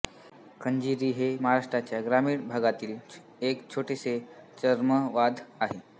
खंजिरी हे महाराष्ट्राच्या ग्रामीण भागातील एक छोटेसे चर्मवाद्य आहे